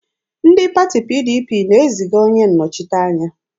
Ndị pati PDP na-eziga onye nnọchiteanya.